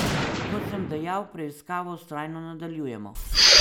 Kot sem dejal, preiskavo vztrajno nadaljujemo.